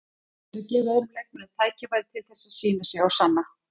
Ég er að gefa öðrum leikmönnum tækifæri til þess að sýna sig og sanna.